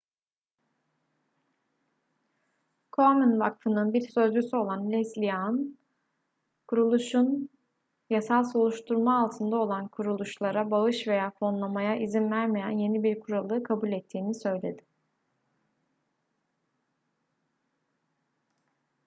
komen vakfının bir sözcüsü olan leslie aun kuruluşun yasal soruşturma altında olan kuruluşlara bağış veya fonlamaya izin vermeyen yeni bir kuralı kabul ettiğini söyledi